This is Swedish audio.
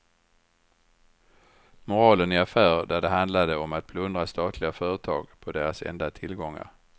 Moralen i affärer där det handlade om att plundra statliga företag på deras enda tillgångar.